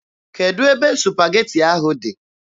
Kedụ ebe supageti ahụ dị?